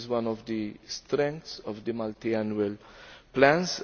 This is one of the strengths of the multiannual plans.